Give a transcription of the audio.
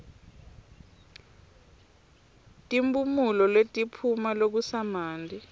timphumulo letiphuma lokusamanti